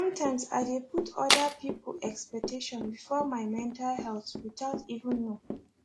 sometimes i dey put other people expectation before my mental health without even know